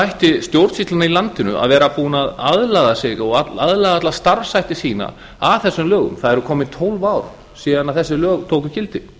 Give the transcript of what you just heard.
ætti stjórnsýslan í landinu að vera búin aðlaga sig og aðlaga alla starfshætti sína að þessum lögum það eru komin tólf ár síðan þessi lög tóku gildi